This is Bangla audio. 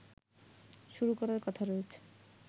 শুরু করার কথা রয়েছে